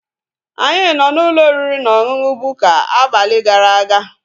Anyị nọ n'ụlọ oriri na ọṅụṅụ Bukka abalị gara aga